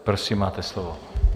Prosím, máte slovo.